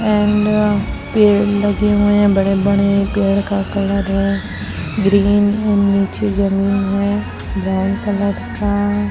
and पेड़ लगे हुए हैं बड़े बड़े पेड़ का कलर है ग्रीन और नीचे जमीन है ब्राउन कलर का --